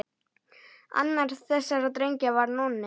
Annar þessara drengja var Nonni.